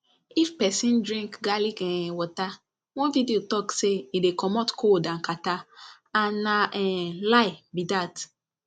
if person drink garlic um water one video talk say e dey comot cold and catarrh and na um lie be dat